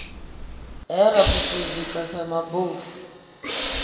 he ra phuphuzika sa mabofu